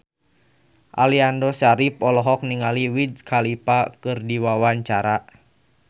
Aliando Syarif olohok ningali Wiz Khalifa keur diwawancara